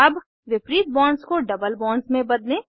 अब विपरीत बॉन्ड्स को डबल बॉन्ड्स में बदलें